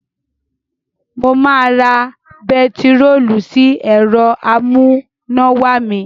Mo máa ra bẹntiróòlù sí ẹ̀rọ amúnáwá mi.